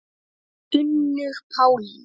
Unnur Pálína.